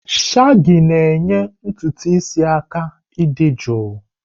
Shagi na-enye ntutu isi idị jụụ.